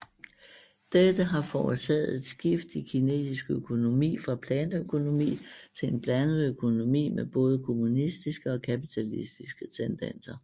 Dette har forårsaget et skift i kinesisk økonomi fra planøkonomi til en blandet økonomi med både kommunistiske og kapitalistiske tendenser